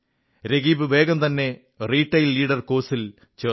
രകീബ് വേഗം തന്നെ retail leader course ൽ ചേർന്നു